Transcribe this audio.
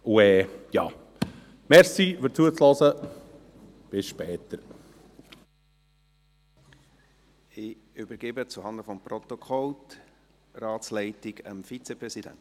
Zuhanden des Protokolls: Ich übergebe die Ratsleitung an den Vizepräsidenten.